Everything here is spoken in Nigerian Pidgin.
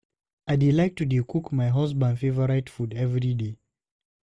I dey like to dey cook my husband favourite food everyday.